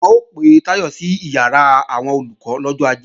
Wọ́n ó pe Táyọ̀ sí ìyàrá àwọn Olùkọ́ lọ́jọ́ Ajé